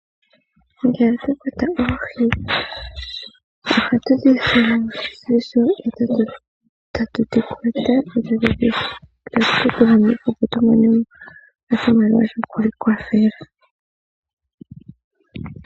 Ngele twakwata oohi, ohatudhi sile oshimpwiyu, tatudhi kwata, e tatu kedhi landitha, opo tumone oshimaliwa shokwiikwathela.